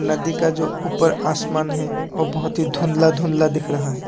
नदी का जो ऊपर आसमान हैवो बहुत ही धुंधला धुंधला दिख रहा है।